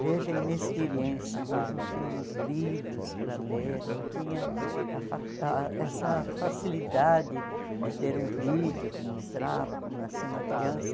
Veja a inexperiência, nós não tínhamos livros para ler, não tinha essa a fa ah essa facilidade de ter um vídeo que mostrava como nascia uma criança.